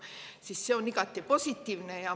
See on igati positiivne.